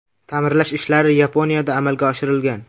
Ta’mirlash ishlari Yaponiyada amalga oshirilgan.